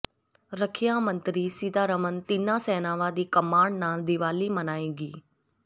ਰੱਖਿਆ ਮੰਤਰੀ ਸੀਤਾਰਮਨ ਤਿੰਨਾਂ ਸੈਨਾਵਾਂ ਦੀ ਕਮਾਂਡ ਨਾਲ ਦੀਵਾਲੀ ਮਨਾਏਗੀ